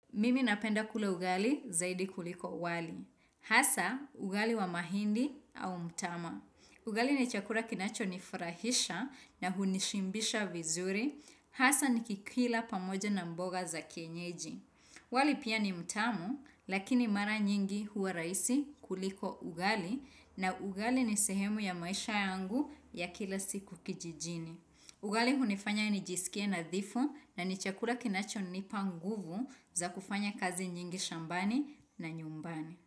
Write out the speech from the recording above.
Mimi napenda kula ugali zaidi kuliko wali. Hasa, ugali wa mahindi au mtama. Ugali ni chakula kinachonifurahisha na hunishibisha vizuri. Hasa nikikila pamoja na mboga za kienyeji. Wali pia ni mtamu, lakini mara nyingi huwa raisi kuliko ugali na ugali ni sehemu ya maisha yangu ya kila siku kijijini. Ugali hunifanya nijisikie nadhifu na ni chakula kinachonipa nguvu za kufanya kazi nyingi shambani na nyumbani.